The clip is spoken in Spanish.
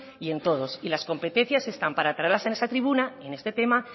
y en todos y las competencias están para traerlas a esta tribuna y en este tema